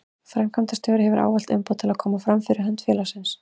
Framkvæmdastjóri hefur ávallt umboð til að koma fram fyrir hönd félagsins.